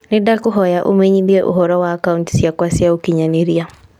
Nĩndakũhoya ũũmenyithie ũhoro wa akaunti ciakwa cia ũkĩnyaniria